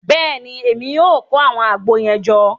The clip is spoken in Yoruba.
Bẹẹni, Èmí o kó awọn àgbo yẹn jọ